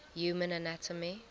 human anatomy